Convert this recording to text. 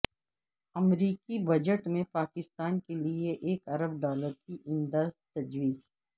امریکی بجٹ میں پاکستان کے لیے ایک ارب ڈالر کی امداد تجویز